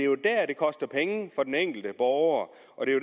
koster penge for den enkelte borger og det er